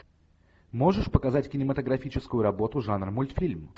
можешь показать кинематографическую работу жанр мультфильм